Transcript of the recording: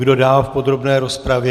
Kdo dál v podrobné rozpravě?